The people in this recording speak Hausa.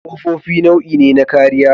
Ƙofofi nau'i ne na kariya.